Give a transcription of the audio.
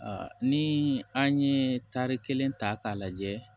ni an ye tari kelen ta k'a lajɛ